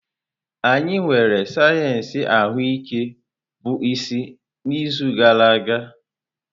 Anyị nwere sayensị ahụike bụ isi n'izu gara aga.